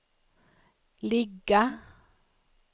ligga